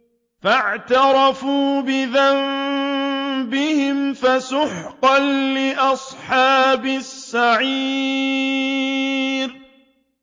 فَاعْتَرَفُوا بِذَنبِهِمْ فَسُحْقًا لِّأَصْحَابِ السَّعِيرِ